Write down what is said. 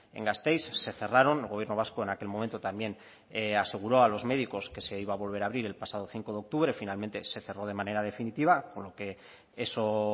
en gasteiz se cerraron el gobierno vasco en aquel momento también aseguró a los médicos que se iba a volver a abrir el pasado cinco de octubre finalmente se cerró de manera definitiva con lo que eso